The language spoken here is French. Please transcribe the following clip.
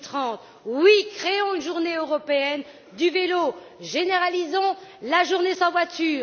2030. Oui, créons une journée européenne du vélo, généralisons la journée sans voiture.